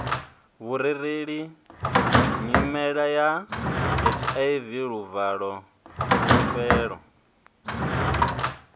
vhurereleli nyimeleya hiv luvalo fulufhelo